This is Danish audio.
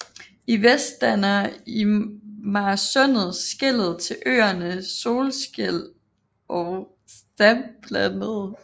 I vest danner Imarsundet skellet til øerne Solskjel og Stabblandet